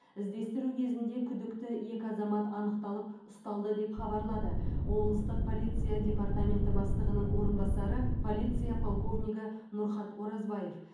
іздестіру кезінде күдікті екі азамат анықталып ұсталды деп хабарлады облыстық полиция департаменті бастығының орынбасары полиция полковнигі нұрхат оразбаев